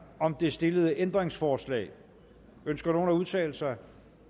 om de stillede ændringsforslag ønsker nogen at udtale sig